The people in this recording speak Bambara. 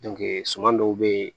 suman dɔw be yen